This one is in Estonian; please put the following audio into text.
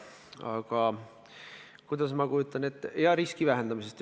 Aga kuidas ma kujutan nende olukorda ette?